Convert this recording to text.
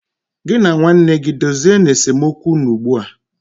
Gị na nwanne gị dozie nu esemokwu unu ugbu a